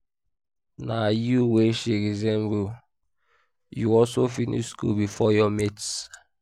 na you wey she resemble you also finish school before your mates